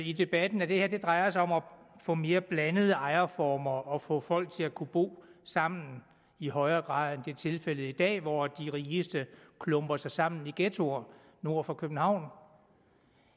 i debatten at det her drejer sig om at få mere blandede ejerformer og at få folk til at kunne bo sammen i højere grad end tilfældet er i dag hvor de rigeste klumper sig sammen i ghettoer nord for københavn